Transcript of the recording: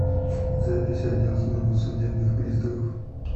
запись отдел службы судебных приставов